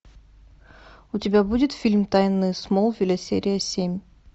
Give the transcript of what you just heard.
у тебя будет фильм тайны смолвиля серия семь